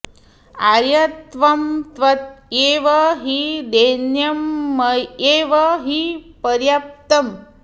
आर्य त्वं त्वय्येव हि दैन्यं मय्येव हि पर्याप्तम्